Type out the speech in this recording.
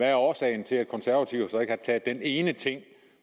er årsagen til at konservative så ikke har taget den ene ting